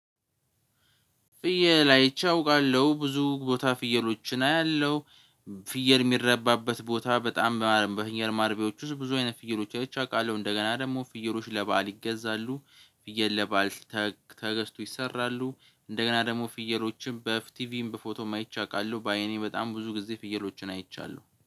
ፍየል አይቼ አውቃለሁ ብዙ ቦታ ፍየሎችን አያለሁ። ፍየል የሚራባበት ቦታ በጣም በፍየል ማረፊያዎች ውስጥ ብዙ አይነት ፍየሎች አይቼ አውቃለው። እንደገና ደግሞ ፍየሮች ለባል ይገዛሉ። ፍየል ለባል ተገዝቶ ይሰራሉ። እንደገና ደግሞ ፍየሎችም በፊቲቪም በፎቶም አይቼ አውቃለሁ በአይኔ በጣም ብዙ ጊዜ ፍየሎችን አይቻለሁ